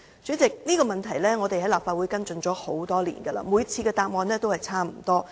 主席，這個問題我們在立法會已經跟進多年，每次得到的答覆也差不多。